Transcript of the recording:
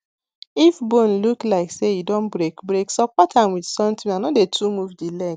if bone look like say e don break break support am with something and no dey too move the leg